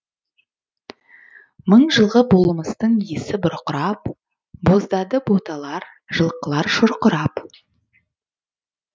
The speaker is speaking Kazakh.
мың жылғы болмыстың иісі бұрқырап боздады боталар жылқылар шұрқырап